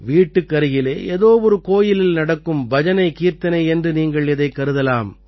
வீட்டுக்கருகிலே ஏதோ ஒரு கோயிலில் நடக்கும் பஜனைகீர்த்தனை என்று நீங்கள் இதைக் கருதலாம்